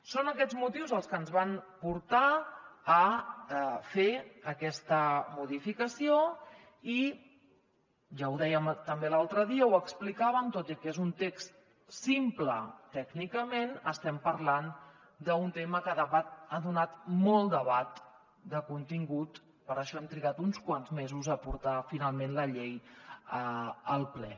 són aquests motius els que ens van portar a fer aquesta modificació i ja ho dèiem també l’altre dia ho explicàvem tot i que és un text simple tècnicament estem parlant d’un tema que ha donat molt debat de contingut per això hem trigat uns quants mesos a portar finalment la llei al ple